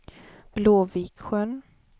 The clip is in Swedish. Blåviksjön